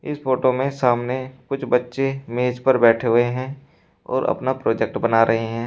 इस फोटो में सामने कुछ बच्चे मेज पर बैठे हुए हैं और अपना प्रोजेक्ट बना रहे हैं।